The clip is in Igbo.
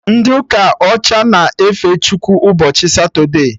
Ndị ụka ọcha na-efe Chukwu ụbọchị Satode